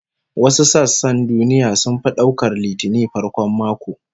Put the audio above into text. Wasu sassan duniya sun fi daukar Litinin farkon mako